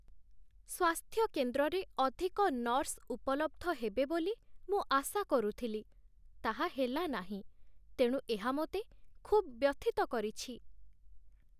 ସ୍ୱାସ୍ଥ୍ୟ କେନ୍ଦ୍ରରେ ଅଧିକ ନର୍ସ ଉପଲବ୍ଧ ହେବେ ବୋଲି ମୁଁ ଆଶା କରୁଥିଲି, ତାହା ହେଲା ନାହିଁ, ତେଣୁ ଏହା ମୋତେ ଖୁବ୍ ବ୍ୟଥିତ କରିଛି।